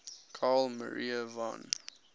carl maria von